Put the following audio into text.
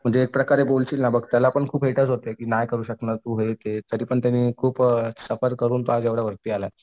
म्हणजे एक प्रकारे गोल न बघता त्याला खूप होते की नाही करू शकणार तू हे ते तरीपण त्याने खूप सफर करून तो आज एवढ्या वरती आलाय.